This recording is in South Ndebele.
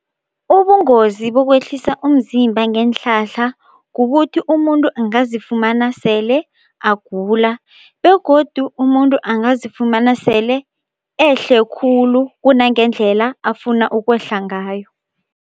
Ubungozi bokwehlisa umzimba ngeenhlahla kukuthi umuntu angazifumana sele agula begodu umuntu angazifumana sele ehle khulu kunangendlela afuna ukwehla ngayo.